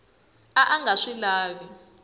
a a nga swi lavi